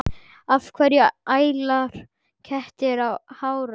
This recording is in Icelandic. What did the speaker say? Af hverju æla kettir hárum?